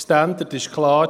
Der Standard ist klar: